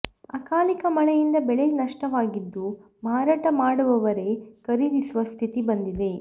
ಅಕಾಲಿಕ ಮಳೆಯಿಂದ ಬೆಳೆ ನಷ್ಟವಾಗಿದ್ದು ಮಾರಾಟ ಮಾಡುವವರೇ ಖರೀದಿಸುವ ಸ್ಥಿತಿ ಬಂದಿದೆ